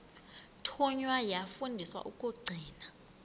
thunywa yafundiswa ukugcina